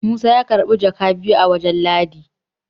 Musa ya karbi jaka biyu a wajen ladi